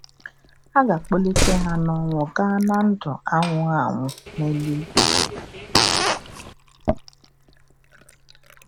A ga - akpọlite ha n’ọnwụ gaa ná ndụ anwụghị anwụ n’eluigwe.